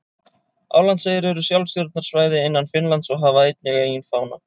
Álandseyjar eru sjálfstjórnarsvæði innan Finnlands og hafa einnig eigin fána.